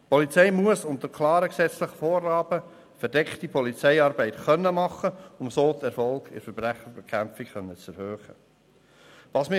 Die Polizei muss unter klaren gesetzlichen Vorgaben verdeckte Polizeiarbeit machen können, um so den Erfolg in der Verbrechensbekämpfung erhöhen zu können.